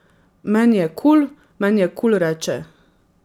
Meni je kul, meni je kul, reče.